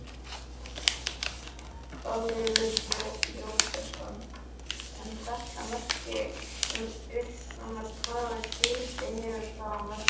Þórhallur Jósefsson: En þetta merki um uppruna hvaða gildi hefur það á mörkuðum?